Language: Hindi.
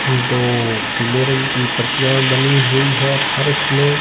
दो पिले रंग की पटिया बनीहुई है फर्श में।